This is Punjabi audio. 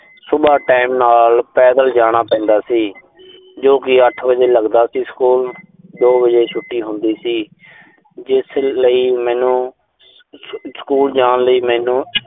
ਸੁਬਾਹ time ਨਾਲ ਪੈਦਲ ਜਾਣਾ ਪੈਂਦਾ ਸੀ, ਜੋ ਕਿ ਅੱਠ ਵਜੇ ਲੱਗਦਾ ਸੀ ਸਕੂਲ। ਦੋ ਵਜੇ ਛੁੱਟੀ ਹੁੰਦੀ ਸੀ। ਜਿਸ ਲਈ ਮੈਨੂੰ ਸਕੂ ਅਹ ਸਕੂਲ ਜਾਣ ਲਈ ਮੈਨੂੰ